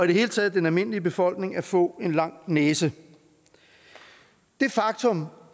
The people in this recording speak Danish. det hele taget den almindelige befolkning at få en lang næse det faktum